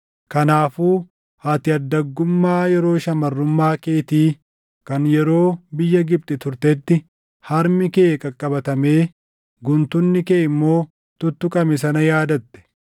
Kanaafuu ati addaggummaa yeroo shamarrummaa keetii kan yeroo biyya Gibxi turtetti harmi kee qaqqabatamee guntunni kee immoo tuttuqame sana yaadatte.